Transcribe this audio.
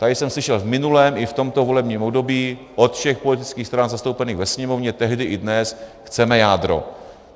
Tady jsem slyšel v minulém i v tomto volebním období od všech politických stran zastoupených ve Sněmovně tehdy i dnes - chceme jádro.